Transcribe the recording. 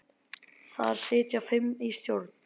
Þar sitja fimm í stjórn.